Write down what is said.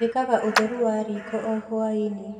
Njĩkaga ũtheru wa riko o hwai-inĩ